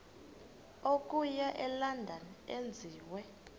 okuya elondon enziwe